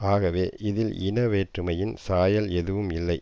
ஆகவே இதில் இன வேற்றுமையின் சாயல் எதுவும் இல்லை